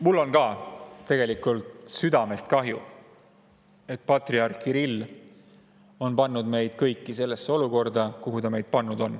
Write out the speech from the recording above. Mul on ka tegelikult südamest kahju, et patriarh Kirill on pannud meid kõiki sellesse olukorda, kuhu ta meid pannud on.